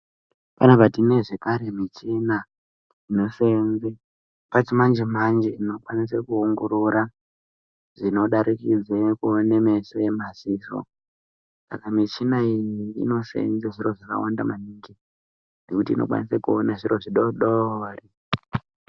Panapa tine zvekare michina inoseenze pachimanje manje inokwanise kuongorora zvinodarikidze kuone meso emaziso saka michina iyi inoseenze zviro zvakawanda maningi nekuti inokwanisa kuone zviro zvidoodori.